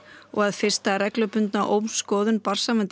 og að fyrsta reglubundna ómskoðun